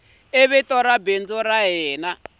ri vito leri bindzu ri